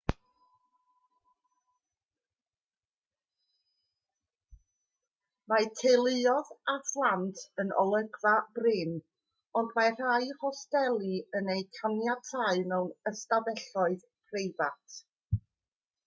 mae teuluoedd â phlant yn olygfa brin ond mae rhai hosteli yn eu caniatáu mewn ystafelloedd preifat